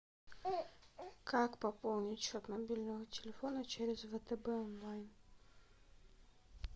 как пополнить счет мобильного телефона через втб онлайн